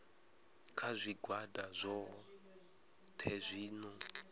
kha zwigwada zwohe zwi no